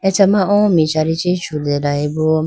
acha ma o michari chee chutelayeboo.